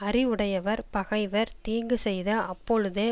அறிவுடையவர் பகைவர் தீங்கு செய்த அப்பொழுதே